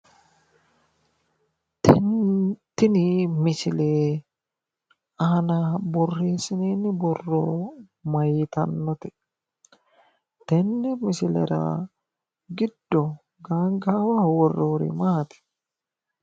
Tini misile aana borreessinoonni borro mayiitannote? Tenne misilera giddo gaangaawaho worroyiiri maati?